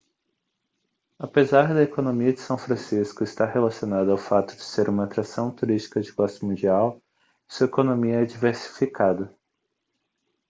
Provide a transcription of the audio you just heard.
apesar da economia de são francisco estar relacionada ao fato de ser uma atração turística de classe mundial sua economia é diversificada